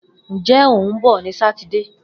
Njẹ o hun bọ ni Sátidé.